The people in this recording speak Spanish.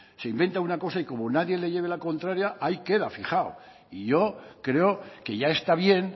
se inventa una cosa y como nadie le lleve la contraria ahí queda fijado y yo creo que ya está bien